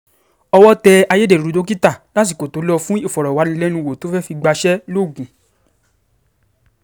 owó tẹ ayédèrú dókítà lásìkò tó lò fún ìfọ̀rọ̀wánilẹ́nuwò tó fẹ́ẹ̀ fi gbaṣẹ́ lọ́gùn